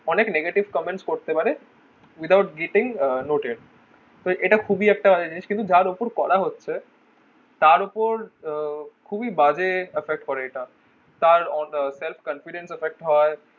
অনেক negative comments করতে পারে without getting noted তো ইটা খুবই একটা বাজে জিনিস কিন্তু যার উপর করা হচ্ছে তার উপর উহ খুবই বাজে effect করে এটা তার self confident effect হয়